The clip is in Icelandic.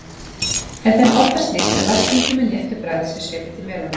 Er þeim oftast lýst sem vatnskenndum með léttu bragði sem svipi til melónu.